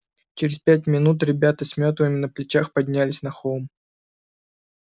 через пять минут ребята с мётлами на плечах поднялись на холм